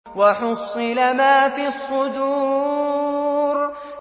وَحُصِّلَ مَا فِي الصُّدُورِ